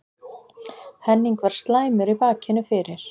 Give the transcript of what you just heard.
Henning var slæmur í bakinu fyrir